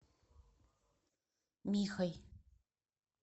михой